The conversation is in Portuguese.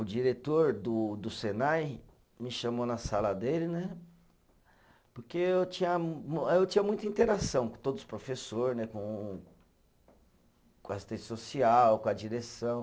O diretor do do Senai me chamou na sala dele né, porque eu tinha mu, eh eu tinha muita interação com todos os professor né, com com a assistência social, com a direção.